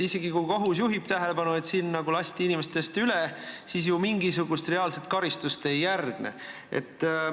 Isegi kui kohus juhib tähelepanu, et nagu lasti inimestest üle, siis mingisugust reaalset karistust ei järgne.